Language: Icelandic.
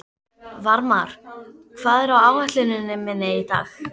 Varmar, hvað er á áætluninni minni í dag?